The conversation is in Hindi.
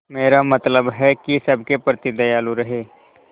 मेरा मतलब है कि सबके प्रति दयालु रहें